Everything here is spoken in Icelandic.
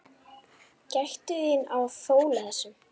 Gættu þín á fóla þessum.